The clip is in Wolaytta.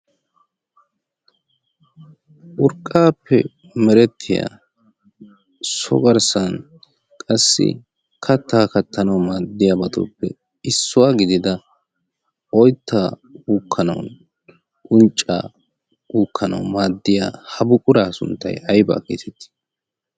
Urqqaappe merettiyaa so garssan qassi kattaa kattanawu maaddiyaabaatuppe issuwaa gidida oyttaa uukkanawunne uncca uukkanawu maaddiya ha buquraa sunttay aybaa geetettii?